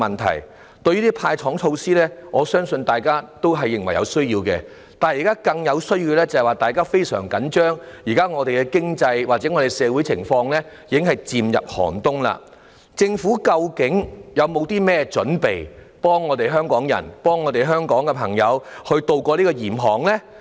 這些"派糖"措施，我相信大家也認為是有需要的，但現在大家更深切關注的，是目前的經濟或社會情況已經漸入寒冬，政府究竟有否任何準備，幫助香港人、香港朋友渡過嚴寒呢？